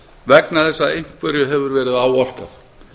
vegna þess að einhverju hefur verið áorkað